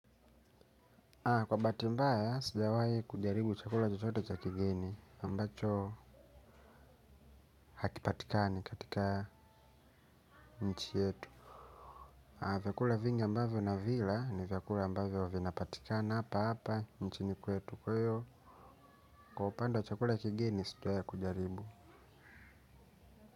Kwa bati mbaya, sijawaye kujaribu chakula chochote cha kigeni ambacho hakipatikani katika nchi yetu. Vyakula vingi ambavyo navila ni vyakula mbavyo vinapatikana hapa hapa, nchini kwetu. Kwa upanda chakula kigeni, sijawaye kujaribu.